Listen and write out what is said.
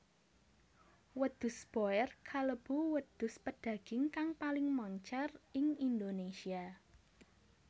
Wedhus boer kalebu wedhus pedaging kang paling moncèr ing Indonésia